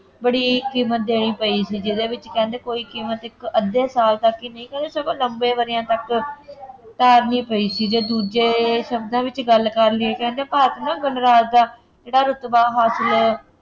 ਬੜੀ ਕੀਮਤ ਦੇਣੀ ਪਈ ਸੀ ਜਿਹਦੇ ਵਿੱਚ ਕਹਿੰਦੇ ਕੋਈ ਕੀਮਤ ਇੱਕ ਅੱਧੇ ਸਾਲ ਤੱਕ ਹੀ ਨਹੀਂ ਸਗੋਂ ਲੰਬੇ ਵਰ੍ਹਿਆਂ ਤੱਕ ਉਤਾਰਨੀ ਪਈ ਸੀ ਜੇ ਦੂਜੇ ਸ਼ਬਦਾਂ ਵਿੱਚ ਗੱਲ ਕਰ ਲਈਏ ਕਹਿੰਦੇ ਭਾਰਤੀ ਨਾ ਗਣਰਾਜ ਦਾ ਇਹਦਾ ਰੁਤਬਾ ਹਾਸਿਲ